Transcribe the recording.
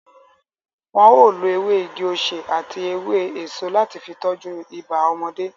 Wọn o lo ewé igi-osè àti ewé èso láti fi tọ́jú ibà ọmọdé